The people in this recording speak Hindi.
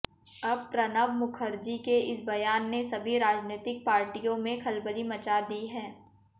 अब प्रणब मुखर्जी के इस बयान ने सभी राजनैतिक पार्टियों मेें खलबली मचा दी है